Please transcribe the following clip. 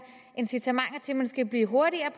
incitamenter til at man skal blive hurtigere